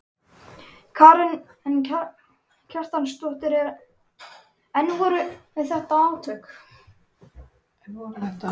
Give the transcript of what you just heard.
Karen Kjartansdóttir: En voru þetta átök?